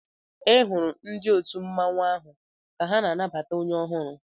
E hụrụ ndị òtù mmanwu áhù ka ha na-anabata onye ọhụrụ